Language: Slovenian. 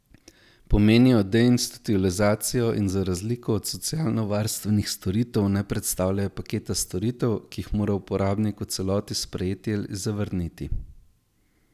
Pomenijo deinstitucionalizacijo in za razliko od socialno varstvenih storitev ne predstavljajo paketa storitev, ki jih mora uporabnik v celoti sprejeti ali zavrniti.